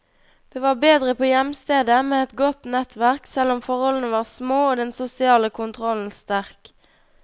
Det var bedre på hjemstedet, med et godt nettverk, selv om forholdene var små og den sosiale kontrollen sterk.